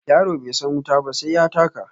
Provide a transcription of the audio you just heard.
Yaro bai san wuta ba sai ya taka.